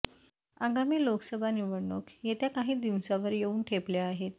आगामी लोकसभा निवडणुक येत्या काही दिवसांवर येऊन ठेपल्या आहेत